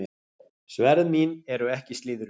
Sverð mín eru ekki slíðruð.